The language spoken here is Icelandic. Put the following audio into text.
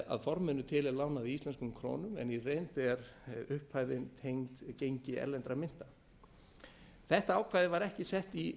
að forminu til er lánið í íslenskum krónum en í reynd er upphæðin tengd gengi erlendrar myntar þetta ákvæði var ekki sett í